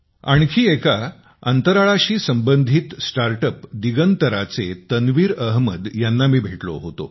आणखी एका अंतराळाशी संबंधित स्टार्टअप्स दिगंतराचे तन्वीर अहमद यांना मी भेटलो होतो